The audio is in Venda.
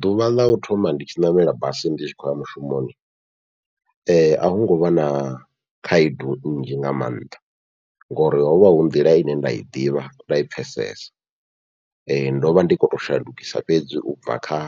Ḓuvha ḽau thoma ndi tshi ṋamela basi ndi tshi khou ya mushumoni, ahu ngovha na khaedu nnzhi nga maanḓa ngori hovha hu nḓila ine nda i ḓivha nda i pfhesesa, ndovha ndi kho to shandukisa fhedzi ubva kha